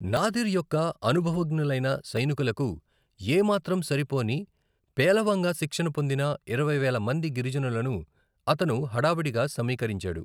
నాదిర్ యొక్క అనుభవజ్ఞులైన సైనికులకు ఏమాత్రం సరిపోని పేలవంగా శిక్షణ పొందిన ఇరవై వేల మంది గిరిజనులను అతను హడావిడిగా సమీకరించాడు.